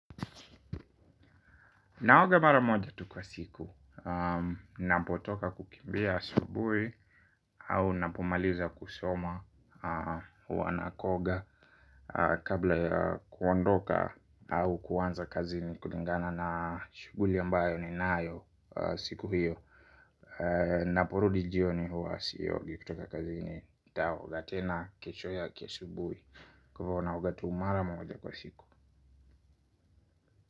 Naoga mara moja tu kwa siku. Ninapotoka kukimbia asubuhi au ninapomaliza kusoma. Huwa naoga kabla ya kuondoka au kuanza kazini kulingana na shughuli ambayo ninayo. Siku hiyo ninaporudi jioni huwa siogi kutoka kazini nitaoga tena kesho yake asubuhi. Kwa hivyo naoga tu mara moja kwa siku.